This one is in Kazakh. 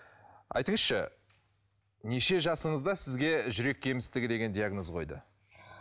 айтыңызшы неше жасыңызда сізге жүрек кемістігі деген диагноз қойды